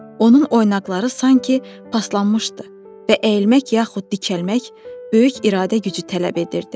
Onun oynaqları sanki paslanmışdı və əyilmək yaxud dikəlmək böyük iradə gücü tələb edirdi.